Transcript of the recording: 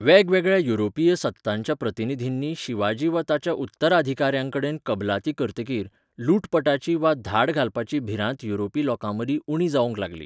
वेगवेगळ्या युरोपीय सत्तांच्या प्रतिनिधींनी शिवाजी वा ताच्या उत्तराधिकाऱ्यांकडेन कबलाती करतकीर, लुटपाची वा धाड घालपाची भिरांत युरोपी लोकांमदीं उणी जावंक लागली.